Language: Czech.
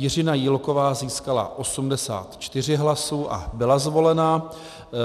Jiřina Jílková získala 84 hlasů a byla zvolena,